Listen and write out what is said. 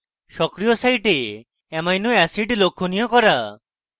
সক্রিয় site amino acids লক্ষনীয় করুন